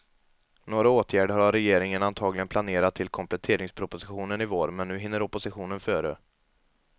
Några åtgärder har regeringen antagligen planerat till kompletteringspropositionen i vår, men nu hinner oppositionen före.